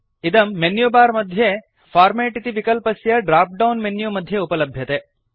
इदं मेन्युबार मध्ये फॉर्मेट् इति विकल्पस्य ड्राप्डौन् मेन्यु मध्ये उपलभ्यते